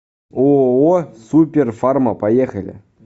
ооо суперфарма поехали